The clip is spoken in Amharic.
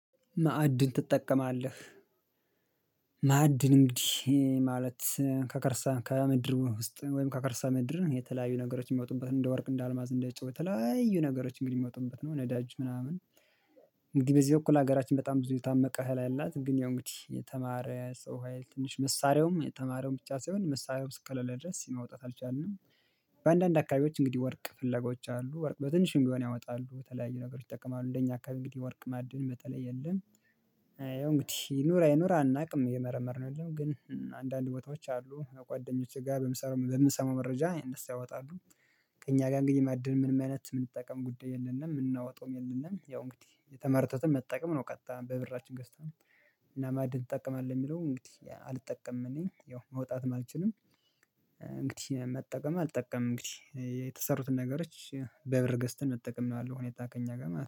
ማዕድን ትጠቀማለህ? ማዕድን እንግዲህ ማለት ከከርሰ ከምድር ውስጥ ወይም ከከርሰ ምድር የተለያዩ ነገሮች የሚወጡበት እንደ ወርቅ እንደ አልማዝ እንደ ጨዋ የተለያዩ ነገሮች እንግዲህ የሚወጡበት ነው። ነዳጅ ምናምን እንግዲህ በዚህ በኩል ሀገራችን በጣም ብዙ የታመቀ ሀይል አላት። ግን ያው እንግዲህ የተማረ ሰው ሀይል ትንሽ መሳሪያውም የተማረውም ብቻ ሳይሆን መሳሪያውም እስከሌለ ድረስ ማውጣት አልቻልንም። በአንዳንድ አካባቢዎች እንግዲህ ወርቅ ፍለጋዎች አሉ። ወርቅ በትንሽም ቢሆን ያወጣሉ በተለያዩ ነገሮች ይጠቀማሉ። እንደኛ አካባቢ እንግዲህ ወርቅ ማዕድን በተለይ የለም። ያው እንግዲህ ይኑር አይኑር አናውቅም እየመረመርን ነው ያለነው ግን አንዳንድ ቦታዎች አሉ በጓደኞቼ ጋር በምሰራ በምሰማው መረጃ እነሱ ያወጣሉ። ከእኛ ጋር እንግዲህ ማዕድን ምንም አይነት የምንጠቀም ጉዳይ የለንም የምናወጣውም የለንም። ያው እንግዲህ የተመረቱትን መጠቀም ነው ቀጥታ በብራችን ገዝተን። እና ማዕድን ትጠቀማለህ የሚለውን እንግዲህ አልጠቀምም እኔ ያው ማውጣትም አልችልም። እንግዲህ መጠቀም አልጠቀምም እንግዲህ የተሰሩትን ነገሮች በብር ገዝተን መጠቀም ነው ያለው ሁኔታ ከኛ ጋር ማለት